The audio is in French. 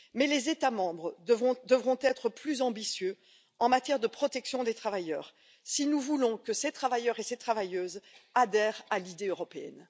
les États membres devront être plus ambitieux en matière de protection des travailleurs, si nous voulons que ces travailleurs et ces travailleuses adhèrent à l'idée européenne.